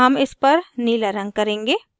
हम इस पर नीला रंग करेंगे